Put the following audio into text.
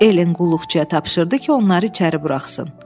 Ellen qulluqçuya tapşırdı ki, onları içəri buraxsın.